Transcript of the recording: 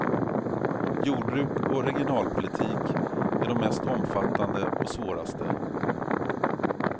Jordbruk och regionalpolitik är de mest omfattande och svåraste.